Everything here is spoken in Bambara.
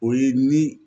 O ye ni